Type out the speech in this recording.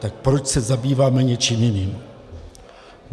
Tak proč se zabýváme něčím jiným?